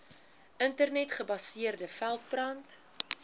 internet gebaseerde veldbrand